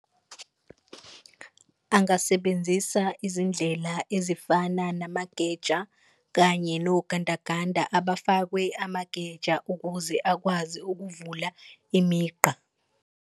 Angasebenzisa izindlela ezifana namageja kanye nogandaganda abafakwe amageja ukuze akwazi ukuvula imigqa.